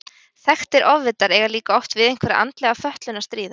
Þekktir ofvitar eiga líka oft við einhverja andlega fötlun að stríða.